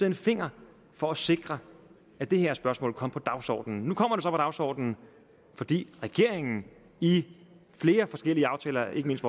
en finger for at sikre at det her spørgsmål kom på dagsordenen nu kommer dagsordenen fordi regeringen i flere forskellige aftaler ikke mindst